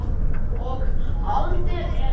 og haldið er áfram.